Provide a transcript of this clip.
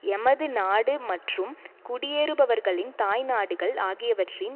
எமது நாடு மற்றும் குடியேறுபவர்களின் தாய்நாடுகள் ஆகியவற்றின்